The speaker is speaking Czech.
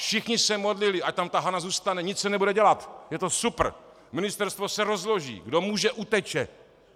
Všichni se modlili, ať tam ta Hana zůstane, nic se nebude dělat, je to super, ministerstvo se rozloží, kdo může, uteče.